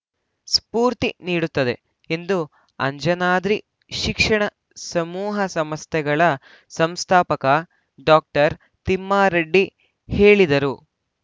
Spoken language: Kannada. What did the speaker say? ಸ್ಪೂರ್ತಿ ನೀಡುತ್ತದೆ ಎಂದು ಅಂಜನಾದ್ರಿ ಶಿಕ್ಷಣ ಸಮೂಹ ಸಂಸ್ಥೆಗಳ ಸಂಸ್ಥಾಪಕ ಡಾಕ್ಟರ್ ತಿಮ್ಮಾರೆಡ್ಡಿ ಹೇಳಿದರು